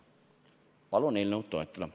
Palun eelnõu toetada!